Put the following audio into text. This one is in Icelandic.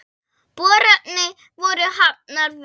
Boranir voru hafnar við